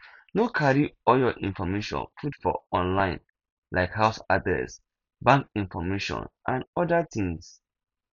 no carry all your information put for online like house address bank information and oda things